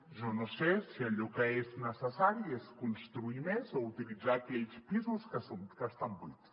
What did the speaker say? jo no sé si allò que és necessari és construir més o utilitzar aquells pisos que estan buits